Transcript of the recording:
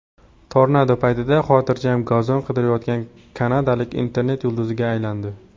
Tornado paytida xotirjam gazon qirqayotgan kanadalik internet yulduziga aylandi.